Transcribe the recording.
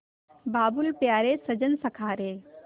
बाबुल प्यारे सजन सखा रे